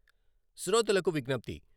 శ్రోతలకు విజ్ఞప్తి..